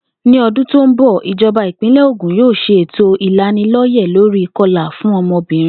Ní o̩dún tó ń bò̩, ìjo̩ba ìpínlè̩ Ògùn yóò s̩e ètò ìlaniló̩yè̩ lórí ìko̩là fún o̩mo̩bìnrin